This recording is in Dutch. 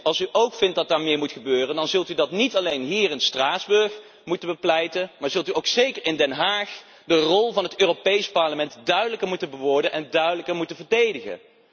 Als u ook vindt dat daar meer moet gebeuren, dan zult u dat niet alleen hier in Straatsburg moeten bepleiten, maar dan zult u ook zeker in Den Haag de rol van het Europees Parlement duidelijker moeten verwoorden en duidelijker moeten verdedigen.